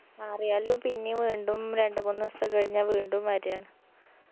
മാറിയാലും പിന്നിയും വീണ്ടും രണ്ട് മൂന്ന് ദിവസം കഴിഞ്ഞാ വീണ്ടും വര് ആണ്